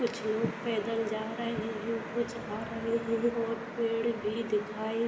कुछ लोग पैदल जा रहे हैं कुछ आ रहे हैं और पेड़ भी दिखाई --